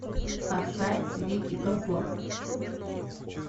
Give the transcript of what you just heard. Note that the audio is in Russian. поставь вики габор